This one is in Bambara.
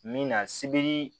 Min na sebiri